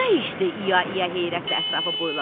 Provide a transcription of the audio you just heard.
Bu nə işdir, İya-iya heyrətlə ətrafına boylandı.